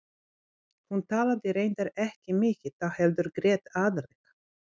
Hún talaði reyndar ekki mikið þá heldur grét aðallega.